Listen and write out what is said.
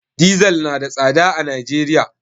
Dizal na da tsada a Najeriya.